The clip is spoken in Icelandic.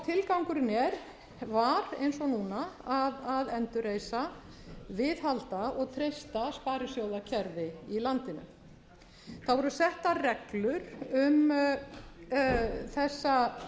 tilgangurinn var eins og núna að endurreisa viðhalda og gesta sparisjóðakerfið í landinu það voru settar reglur um þessa